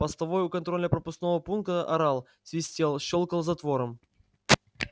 постовой у контрольно пропускного пункта орал свистел щёлкал затвором